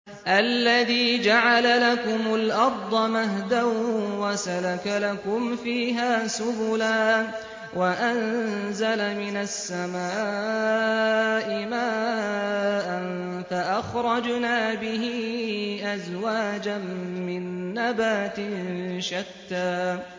الَّذِي جَعَلَ لَكُمُ الْأَرْضَ مَهْدًا وَسَلَكَ لَكُمْ فِيهَا سُبُلًا وَأَنزَلَ مِنَ السَّمَاءِ مَاءً فَأَخْرَجْنَا بِهِ أَزْوَاجًا مِّن نَّبَاتٍ شَتَّىٰ